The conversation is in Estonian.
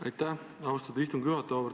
Aitäh, austatud istungi juhataja!